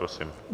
Prosím.